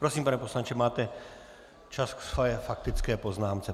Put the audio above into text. Prosím, pane poslanče, máte čas ke své faktické poznámce.